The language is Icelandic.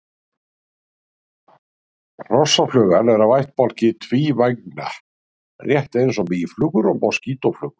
Hrossaflugan er af ættbálki tvívængna rétt eins og mýflugur og moskítóflugur.